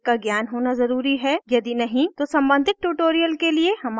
यदि नहीं तो सम्बंधित tutorials के लिए हमारी website पर जाएँ